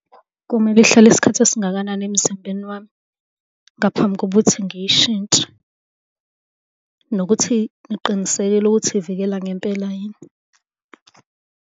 Kumele ihlale isikhathi esingakanani emzimbeni wami ngaphambi kokuthi ngiyishintshe? Nokuthi niqinisekile ukuthi ivikela ngempela yini?